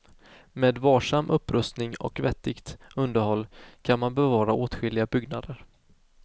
Med varsam upprustning och vettigt underhåll kan man bevara åtskilliga byggnader.